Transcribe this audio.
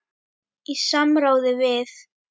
Í samráði við